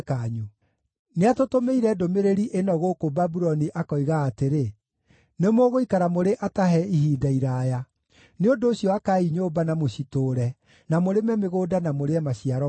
Nĩatũtũmĩire ndũmĩrĩri ĩno gũkũ Babuloni akoiga atĩrĩ: Nĩmũgũikara mũrĩ atahe ihinda iraaya. Nĩ ũndũ ũcio akaai nyũmba na mũcitũũre, na mũrĩme mĩgũnda na mũrĩe maciaro mayo.’ ”